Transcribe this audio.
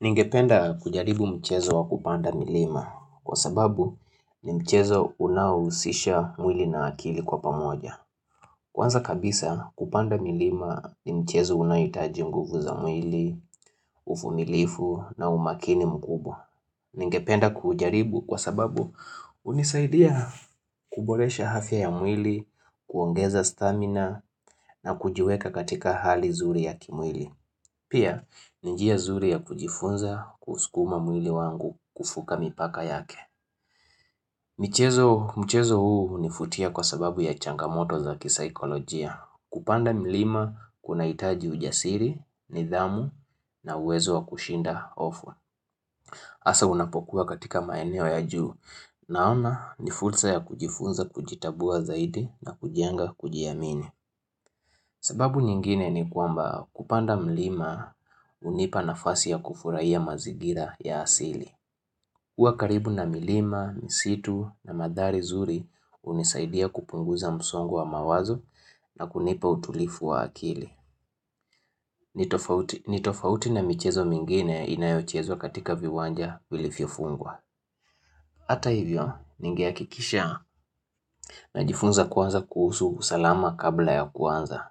Ningependa kujaribu mchezo wa kupanda milima kwa sababu ni mchezo unaohusisha mwili na akili kwa pamoja. Kwanza kabisa kupanda milima ni mchezo unaohitaji nguvu za mwili, uvumilifu na umakini mkubwa. Ningependa kujaribu kwa sababu hunisaidia kuboresha afya ya mwili, kuongeza stamina na kujiweka katika hali zuri ya kimwili. Pia, ni njia zuri ya kujifunza kuskuma mwili wangu kufuka mipaka yake. Michezo huu unifutia kwa sababu ya changamoto za kisaikolojia. Kupanda milima kunahitaji ujasiri, nidhamu na uwezo wa kushinda ofu. Asa unapokuwa katika maeneo ya juu. Naona ni fursa ya kujifunza kujitambua zaidi na kujenga kujiamini. Sababu nyingine ni kwamba kupanda mlima unipa nafasi ya kufurahia mazigira ya asili. Kuwa karibu na milima, msitu na madhari zuri unisaidia kupunguza msongo wa mawazo na kunipa utulifu wa akili. Ni tofauti na michezo mingine inayochezwa katika viwanja vilivyofungwa. Ata hivyo, ningehakikisha najifunza kwanza kuhusu usalama kabla ya kuanza.